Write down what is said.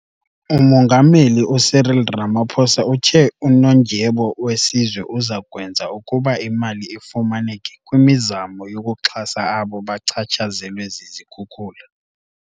Umongameli u-Cyril Ramaphosa uthe uNondyebo weSizwe uza kwenza ukuba imali ifumaneke kwimizamo yokuxhasa abo bachatshazelwe zizikhukula.